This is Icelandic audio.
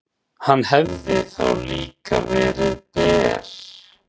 Hann hefði þá líka verið ber.